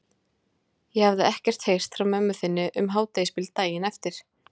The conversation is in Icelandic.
Ég hafði ekkert heyrt frá mömmu þinni um hádegisbil daginn eftir.